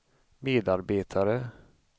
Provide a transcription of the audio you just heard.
medarbetare